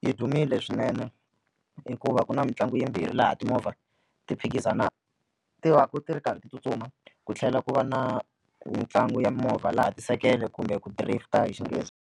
Yi dumile swinene hikuva ku na mitlangu yimbirhi laha timovha ti phikizana ti va ku ti ri karhi ti tsutsuma ku tlhela ku va na mitlangu ya mimovha laha tisekele kumbe ku hi Xinghezi.